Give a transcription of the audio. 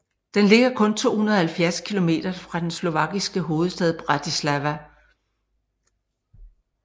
Den ligger kun 270 kilometer fra den slovakiske hovedstad Bratislava